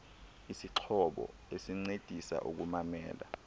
isixhobo esincedisa ukumamela